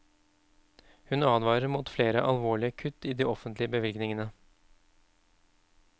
Hun advarer mot flere alvorlige kutt i de offentlige bevilgningene.